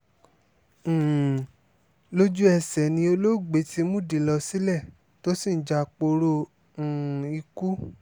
um lójú-ẹsẹ̀ ni olóògbé ti múdìí lọ sílé tó sì ń japoró um ikú